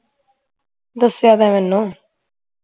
ਦਸਿਆ ਤਾਂ ਹੈ ਮੈਨੂੰ